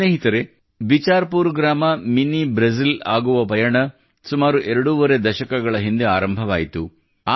ಸ್ನೇಹಿತರೇ ಬಿಚಾರ್ ಪೂರ್ ಗ್ರಾಮ mini Brazil ಆಗುವ ಪಯಣ ಸುಮಾರು ಎರಡೂವರೆ ದಶಕಗಳ ಹಿಂದೆ ಆರಂಭವಾಯಿತು